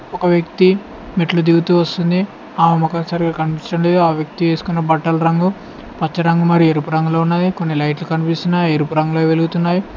ఒక వ్యక్తి మెట్లు దిగుతూ వస్తుంది ఆమె మొఖం సరిగా కనిపిచ్చడం లేదు ఆ వ్యక్తి ఏసుకున్న బట్టల రంగు పచ్చ రంగు మరి ఎరుపు రంగులో ఉన్నది కొన్ని లైట్లు కనిపిస్తున్నాయి అవి ఎరుపు రంగులో ఎలుగుతున్నావి.